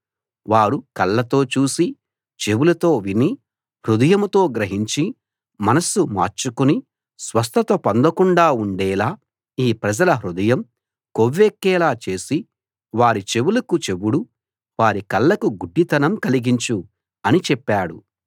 వారు కళ్ళతో చూసి చెవులతో విని హృదయంతో గ్రహించి మనస్సు మార్చుకుని స్వస్థత పొందకుండా ఉండేలా ఈ ప్రజల హృదయం కొవ్వెక్కేలా చేసి వారి చెవులకు చెవుడు వారి కళ్ళకు గుడ్డితనం కలిగించు అని చెప్పాడు